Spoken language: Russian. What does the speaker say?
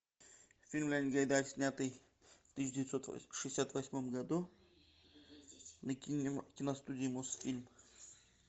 фильм леонида гайдая снятый в тысяча девятьсот шестьдесят восьмом году на киностудии мосфильм